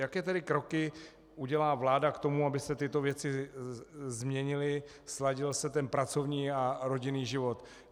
Jaké tedy kroky udělá vláda k tomu, aby se tyto věci změnily, sladil se ten pracovní a rodinný život?